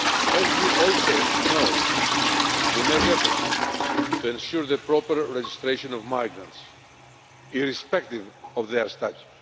As you also know, we make efforts to ensure the proper registration of migrants, irrespective of their status.